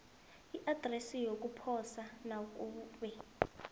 iadresi yokuposa nakube